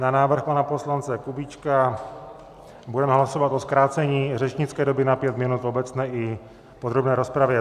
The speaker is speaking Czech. Na návrh pana poslance Kubíčka budeme hlasovat o zkrácení řečnické doby na pět minut v obecné i podrobné rozpravě.